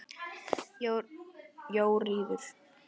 Jóríður, hvaða mánaðardagur er í dag?